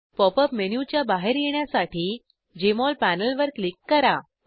pop up मेनूच्या बाहेर येण्यासाठी जेएमओल पॅनलवर क्लिक करा